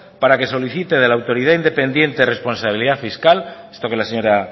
para que solicite de la autoridad independiente de responsabilidad fiscal esto que la señora